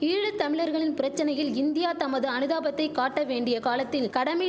ஈழ தமிழர்களின் பிரச்சனையில் இந்தியா தமது அனுதாபத்தை காட்ட வேண்டிய காலத்தில் கடமி